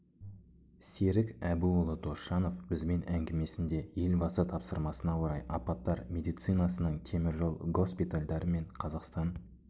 серік әбуұлы досжанов бізбен әңгімесінде елбасы тапсырмасына орай апаттар медицинасының темір жол госпитальдары мен қазақстан